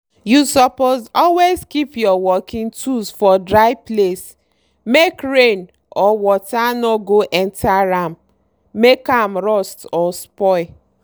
you suppose always keep your working tools for dry place make rain or water no go enter am make am rust or spoil.